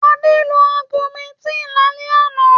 Adé lo Augumentin lálẹ́ àná.